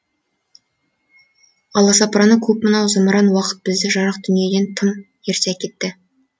аласапыраны көп мынау зымыран уақыт бізді жарық дүниеден тым ерте әкетті